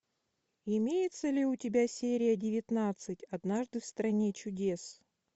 имеется ли у тебя серия девятнадцать однажды в стране чудес